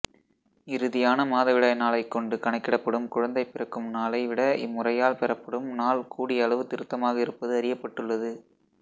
இறுதியான மாதவிடாய் நாளைக்கொண்டு கணக்கிடப்படும் குழந்தை பிறக்கும் நாளை விட இம்முறையால் பெறப்படும் நாள் கூடியளவு திருத்தமாக இருப்பது அறியப்பட்டுள்ளது